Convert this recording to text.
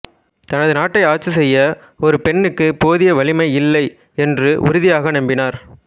தனது நாட்டை ஆட்சி செய்ய ஒரு பெண்ணுக்கு போதிய வலிமை இல்லை என்று உறுதியாக் நம்பினார்